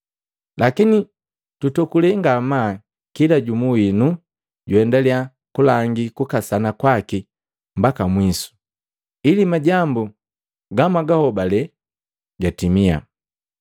Lakini tutokule ngamaa kila jumu winu juendaliya kulangi kukasana kwaki mbaka mwisu, ili majambu gamwagahobale gatimia.